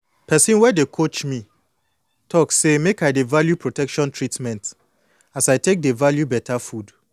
person wey dey coach me talk say make i dey value protection treatment as i take dey value beta food